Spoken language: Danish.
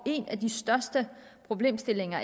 en af de største problemstillinger